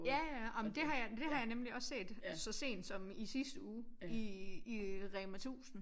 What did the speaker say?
Ja ja ej men det har det har jeg nemlig også set så sent som i sidste uge i i Rema 1000